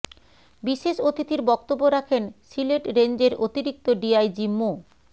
বিশেষ অতিথির বক্তব্য রাখেন সিলেট রেঞ্জের অতিরিক্ত ডিআইজি মো